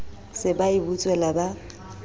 se ba e butswela ba